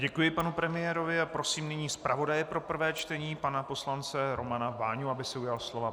Děkuji panu premiérovi a prosím nyní zpravodaje pro prvé čtení pana poslance Romana Váňu, aby se ujal slova.